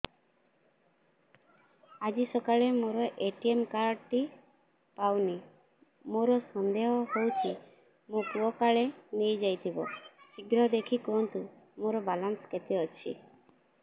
ଆଜି ସକାଳେ ମୋର ଏ.ଟି.ଏମ୍ କାର୍ଡ ଟି ପାଉନି ମୋର ସନ୍ଦେହ ହଉଚି ମୋ ପୁଅ କାଳେ ନେଇଯାଇଥିବ ଶୀଘ୍ର ଦେଖି କୁହନ୍ତୁ ମୋର ବାଲାନ୍ସ କେତେ ଅଛି